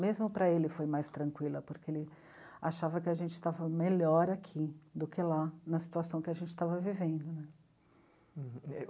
Mesmo para ele, foi mais tranquila, porque ele achava que a gente estava melhor aqui do que lá, na situação que a gente estava vivendo né.